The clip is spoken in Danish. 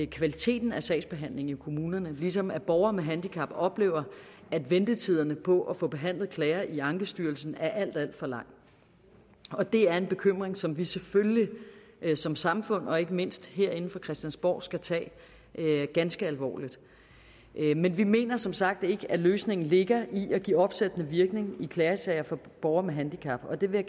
kvaliteten af sagsbehandlingen i kommunerne ligesom borgere med handicap oplever at ventetiderne på at få behandlet klager i ankestyrelsen er alt alt for lang og det er en bekymring som vi selvfølgelig som samfund og ikke mindst herinde fra christiansborg skal tage ganske alvorligt men vi mener som sagt ikke at løsningen ligger i at give opsættende virkning i klagesager for borgere med handicap og det vil